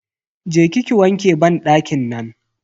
Je ki ki wanke banɗakin nan.